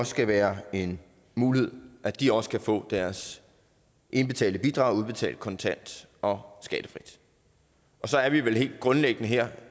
skal være en mulighed at de også kan få deres indbetalte bidrag udbetalt kontant og skattefrit og så er vi vel helt grundlæggende her